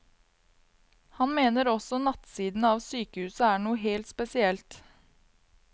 Han mener også nattsidene av sykehuset er noe helt spesielt.